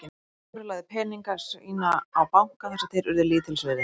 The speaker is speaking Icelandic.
Sigvarður lagði peninga sína á banka þar sem þeir urðu lítils virði.